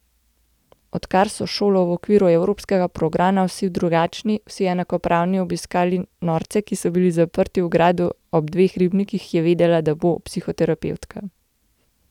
Odkar so s šolo v okviru evropskega programa Vsi drugačni, vsi enakopravni obiskali norce, ki so bili zaprti v gradu ob dveh ribnikih, je vedela, da bo psihoterapevtka.